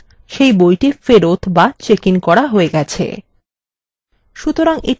অর্থাত সেই বইটি ফেরত বা checked in করা হয়ে গেছে